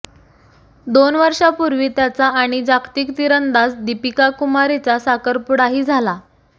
दोन वर्षापूर्वी त्याचा आणि जागतिक तिरंदाज दीपिका कुमारीचा साखरपुडाही झाला